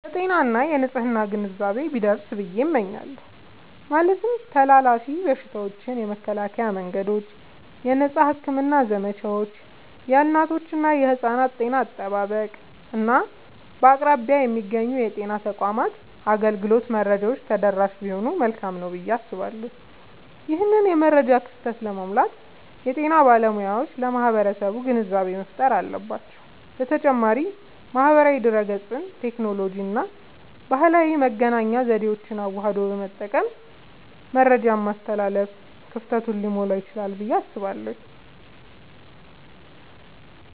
የጤና እና የንፅህና ግንዛቤ ቢደርስ ብየ እመኛለሁ። ማለትም ተላላፊ በሽታዎችን የመከላከያ መንገዶች፣ የነፃ ሕክምና ዘመቻዎች፣ የእናቶችና የሕፃናት ጤና አጠባበቅ፣ እና በአቅራቢያ የሚገኙ የጤና ተቋማት አገልግሎት መረጃዎች ተደራሽ ቢሆኑ መልካም ነዉ ብየ አስባለሁ። ይህንን የመረጃ ክፍተት ለመሙላት የጤና ባለሙያዎች ለማህበረሰቡ ግንዛቤ መፍጠር አለባቸዉ። በተጨማሪም ማህበራዊ ድህረገጽን፣ ቴክኖሎጂንና ባህላዊ የመገናኛ ዘዴዎችን አዋህዶ በመጠቀም መረጃን ማስተላለፍ ክፍተቱን ሊሞላዉ ይችላል ብየ አስባለሁ።